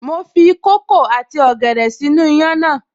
Mo fi kókò àti ọ̀gẹ̀dẹ̀ sínú iyán náà